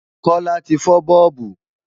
Kọ́lá ti fọ́ bọ́ọ̀bù